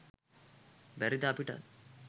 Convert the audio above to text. බැරිද අපිටත්